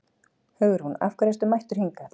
Hugrún: Af hverju ertu mættur hingað?